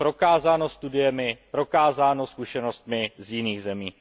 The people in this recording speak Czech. Je to prokázáno studiemi, prokázáno zkušenostmi z jiných zemí.